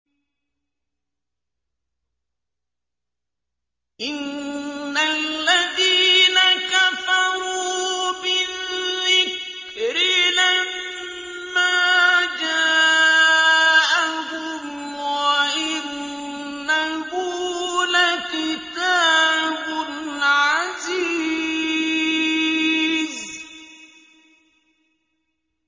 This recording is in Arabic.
إِنَّ الَّذِينَ كَفَرُوا بِالذِّكْرِ لَمَّا جَاءَهُمْ ۖ وَإِنَّهُ لَكِتَابٌ عَزِيزٌ